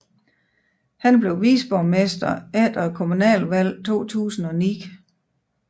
Han blev viceborgmester efter kommunalvalget 2009